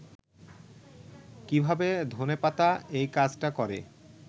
কিভাবে ধনেপাতা এই কাজটা করে